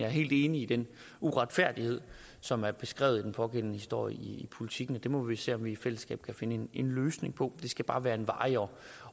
helt enig i den uretfærdighed som er beskrevet i den pågældende historie i politiken og det må vi se om vi i fællesskab kan finde en løsning på det skal bare være en varig og